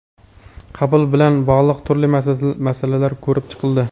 qabul bilan bog‘liq turli masalalar ko‘rib chiqildi.